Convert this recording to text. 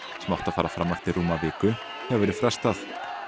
sem átti að fara fram eftir rúma viku hefur verið frestað